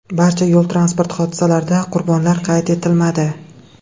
Barcha yo‘l-transport hodisalarida qurbonlar qayd etilmadi.